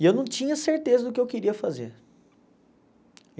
E eu não tinha certeza do que eu queria fazer.